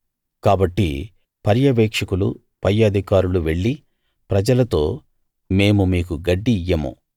కాబట్టి పర్యవేక్షకులు పై అధికారులు వెళ్లి ప్రజలతో మేము మీకు గడ్డి ఇయ్యము